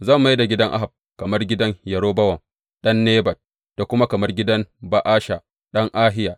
Zan mai da gidan Ahab kamar gidan Yerobowam ɗan Nebat da kuma kamar gidan Ba’asha ɗan Ahiya.